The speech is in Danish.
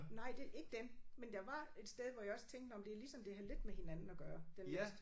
Nej det ikke dem men der var et sted hvor jeg også tænkte nåh det er ligesom det havde lidt med hinanden at gøre den næste